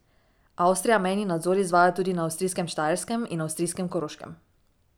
Avstrija mejni nadzor izvaja tudi na avstrijskem Štajerskem in avstrijskem Koroškem.